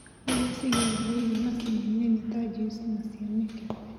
iria cigereirio maciniinĩ nĩta juici na ciamĩkebeinĩ.